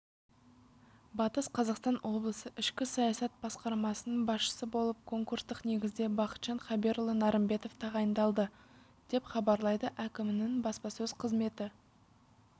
батыс қазақстан облысы ішкі саясат басқармасының басшысы болып конкурстық негізде бақытжан хаберұлы нарымбетов тағайындалды деп хабарлайды әкімінің баспасөз қызметі